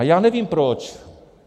A já nevím proč.